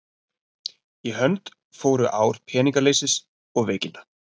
Í hönd fóru ár peningaleysis og veikinda.